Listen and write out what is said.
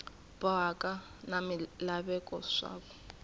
bohaka na swilaveko swa ku